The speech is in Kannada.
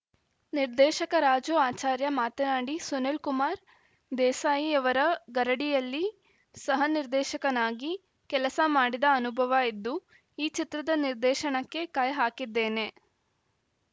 ನಿರ್ದೇಶಕ ರಾಜು ಆಚಾರ್ಯ ಮಾತನಾಡಿ ಸುನಿಲ್‌ ಕುಮಾರ್‌ ದೇಸಾಯಿಯವರ ಗರಡಿಯಲ್ಲಿ ಸಹ ನಿರ್ದೇಶಕನಾಗಿ ಕೆಲಸ ಮಾಡಿದ ಅನುಭವ ಇದ್ದು ಈ ಚಿತ್ರದ ನಿರ್ದೇಶನಕ್ಕೆ ಕೈ ಹಾಕಿದ್ದೇನೆ